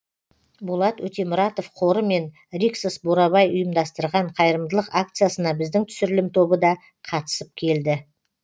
болат өтемұратов қоры мен риксос бурабай ұйымдастырған қайырымдылық акциясына біздің түсірілім тобы да қатысып келді